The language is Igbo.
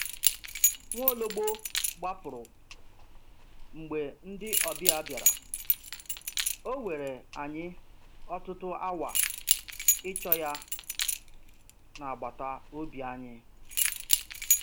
Nwaologbo gbapụrụ mgbe ndị ọbịa bịara, ọ were anyị ọtụtụ awa ịchọ ya n'agbata obi anyị.